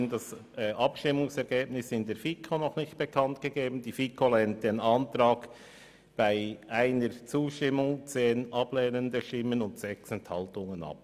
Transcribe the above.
Die FiKo lehnt diese Planungserklärung bei 1 Zustimmung, 10 Ablehnungen und 6 Enthaltungen ab.